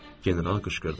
General qışqırdı.